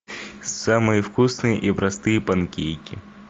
самые вкусные и простые панкейки